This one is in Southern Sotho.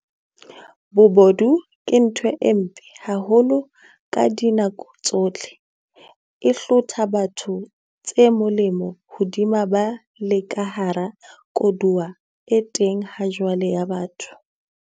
Bobodu ke ntho e mpe haholo ka dinako tsohle, e hlotha batho tse molemo hodima ba le ka hara koduwa e teng hajwale ya botho.